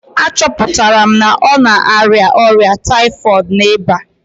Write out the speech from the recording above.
A chọpụtara na ọ na-arịa ọrịa typhoid na ịba